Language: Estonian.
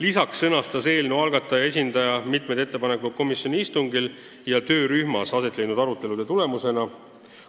Lisaks sõnastas eelnõu algataja esindaja mitu ettepanekut komisjoni istungil ja töörühmas aset leidnud arutelude tulemusena.